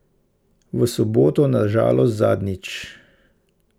V soboto na žalost zadnjič.